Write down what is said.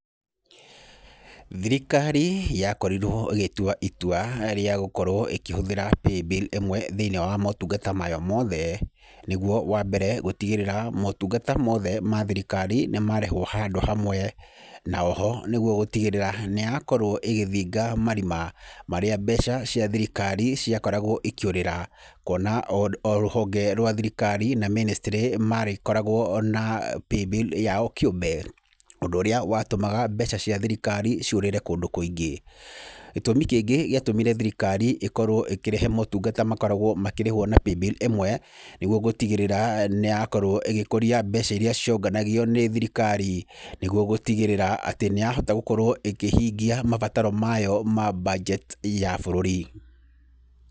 Thikrikari yakorirwo ĩgĩtwa itua rĩa gũkorwo ĩkĩhũthĩra Paybill ĩmwe thĩinĩ wa motungata mayo mothe, nĩguo wa mbere gũtigĩrĩra motungata mothe ma thirikari nĩ marehwo handũ hamwe, na oho, nĩguo gũtigĩrĩra nĩ yakorwo ĩgĩthinga marima marĩa mbeca cia thirikari ciakoragwo ikĩũrira, kuona o rũhonge rwa thirikari na ministry marĩkoragwo na Paybill yao kĩũmbe, ũndũ ũrĩa watũmaga mbeca cia thirikari ciũrĩre kũndũ kũingĩ, gĩtũmi kĩngĩ gĩatũmire thirikari ikorwo ĩkĩrehe motungata makoragwo makĩrĩhwo na Paybill ĩmwe, nĩguo gũtigĩrĩra nĩ yakorwo ĩgĩkoria mbeca iria cionganagio nĩ thirikari, nĩguo gũtigĩrĩra atĩ nĩ yahota gũkorwo ĩkĩhingia mabataro mayo ma mbanjeti ya bũrũri.